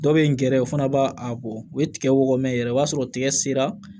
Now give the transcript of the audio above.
Dɔ bɛ n gɛrɛ o fana b'a a bɔ o ye tigɛ wɔɔrɔ mɛn yɛrɛ o b'a sɔrɔ tigɛ sera